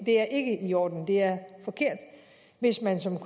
er ikke i orden det er forkert hvis man som